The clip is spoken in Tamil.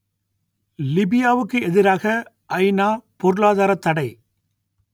லிபியாவுக்கு எதிராக ஐநா பொருளாதாரத் தடை